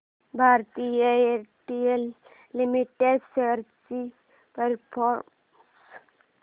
Bharti Airtel limited shares चा performance